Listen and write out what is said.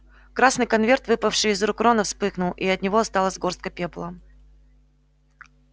красный конверт выпавший из рук рона вспыхнул и от него осталась горстка пепла